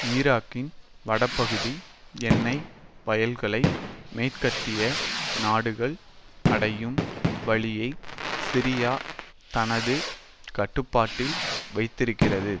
ஈராக்கின் வடபகுதி எண்ணெய் வயல்களை மேற்கத்திய நாடுகள் அடையும் வழியை சிரியா தனது கட்டுப்பாட்டில் வைத்திருக்கின்றது